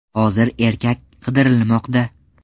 Hozir erkak qidirilmoqda.